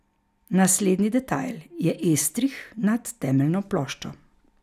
Naslednji detajl je estrih nad temeljno ploščo.